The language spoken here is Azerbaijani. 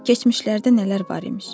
Keçmişlərdə nələr var imiş.